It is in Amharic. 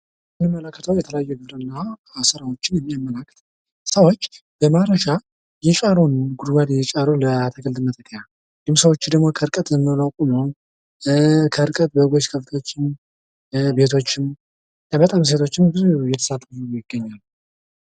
የምንመለከተው የተለያዩ የግብርና ስራዎችን የሚያመለክት ነው። ሰዎች በማረሻ ጉድጓዱን የሻረውን ለአትክልትነት እንድሁም ሰዎቹ ደግሞ ከርቀት ዝም ብለው ቁመው ከርቀት በጎች ከብቶችም ቤቶችም እና ሰዎችም ብዙ እየተሳተፉ ይገኛሉ።